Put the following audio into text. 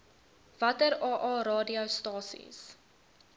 watter aa radiostasies